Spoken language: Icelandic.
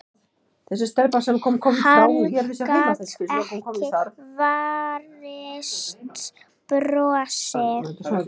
Hann gat ekki varist brosi.